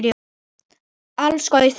Alls gaus þarna